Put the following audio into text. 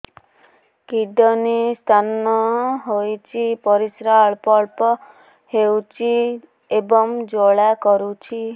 kidney stone ହୋଇଛି ପରିସ୍ରା ଅଳ୍ପ ଅଳ୍ପ ହେଉଛି ଏବଂ ଜ୍ୱାଳା କରୁଛି